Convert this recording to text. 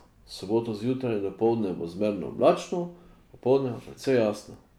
V soboto zjutraj in dopoldne bo zmerno oblačno, popoldne pa precej jasno.